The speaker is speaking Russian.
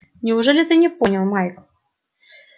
неужели ты не понял майк